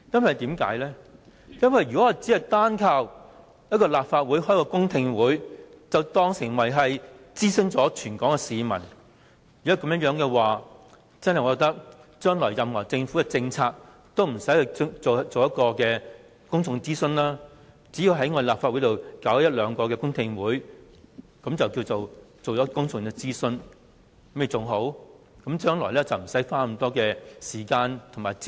因為如果只單靠立法會舉行過一次公聽會，便當作已諮詢了全港市民的話，那麼我認為政府將來的所有政策，也不用進行公眾諮詢，只須在立法會舉行一兩次公聽會，便可視作已進行了公眾諮詢，將來便不用花那麼多時間和資源。